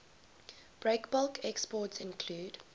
breakbulk exports include